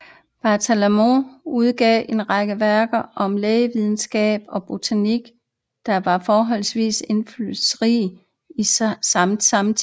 Bartolomeo udgav en række værker om lægevidenskab og botanik der var forholdsvist indflydelsesrige i samtiden